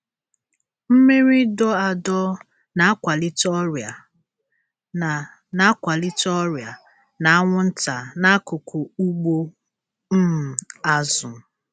Mmiri dọ adọ na-akwalite ọrịa na na-akwalite ọrịa na anwụnta n'akụkụ ugbo um azụ.